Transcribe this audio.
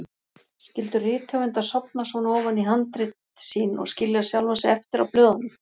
Skyldu rithöfundar sofna svona ofan í handrit sín og skilja sjálfa sig eftir á blöðunum?